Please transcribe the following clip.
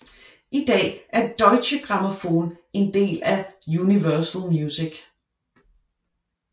I dag er Deutsche Grammophon en del af Universal Music